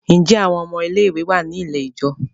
Ṣe àwọn ọmọ ilé ìwé wá ní ilẹ̀ ijọ?